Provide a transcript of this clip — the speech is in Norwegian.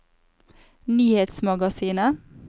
nyhetsmagasinet